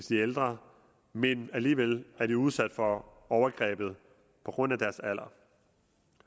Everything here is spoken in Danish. de er ældre men alligevel er de udsat for overgrebet på grund af deres alder